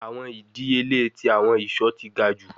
Awọn idiyele ti awọn iṣọ ti ga ju